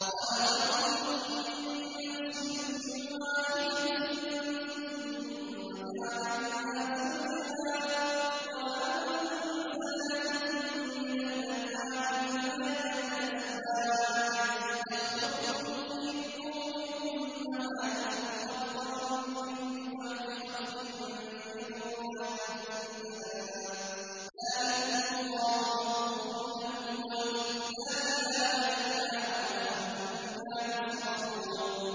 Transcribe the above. خَلَقَكُم مِّن نَّفْسٍ وَاحِدَةٍ ثُمَّ جَعَلَ مِنْهَا زَوْجَهَا وَأَنزَلَ لَكُم مِّنَ الْأَنْعَامِ ثَمَانِيَةَ أَزْوَاجٍ ۚ يَخْلُقُكُمْ فِي بُطُونِ أُمَّهَاتِكُمْ خَلْقًا مِّن بَعْدِ خَلْقٍ فِي ظُلُمَاتٍ ثَلَاثٍ ۚ ذَٰلِكُمُ اللَّهُ رَبُّكُمْ لَهُ الْمُلْكُ ۖ لَا إِلَٰهَ إِلَّا هُوَ ۖ فَأَنَّىٰ تُصْرَفُونَ